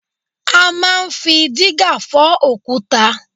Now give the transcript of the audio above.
A máa ń fi dígà fọ òkúta